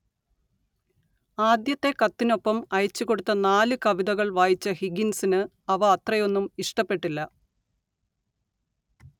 ആദ്യത്തെ കത്തിനൊപ്പം അയച്ചുകൊടുത്ത നാല് കവിതകൾ വായിച്ച ഹിഗിൻസിന് അവ അത്രയൊന്നും ഇഷ്ടപ്പെട്ടില്ല